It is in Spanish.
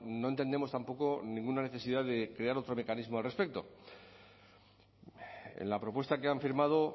no entendemos tampoco ninguna necesidad de crear otro mecanismo al respecto en la propuesta que han firmado